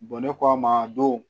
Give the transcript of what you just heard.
ne k'a ma don